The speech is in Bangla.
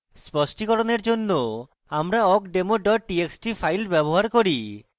স্পষ্টিকরণের জন্য আমরা awkdemo txt txt file ব্যবহার করি